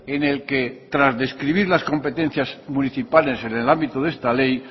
en el que tras describir las competencias municipales en el ámbito de esta ley